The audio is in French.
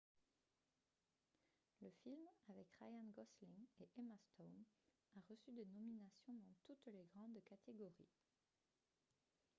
le film avec ryan gosling et emma stone a reçu des nominations dans toutes les grandes catégories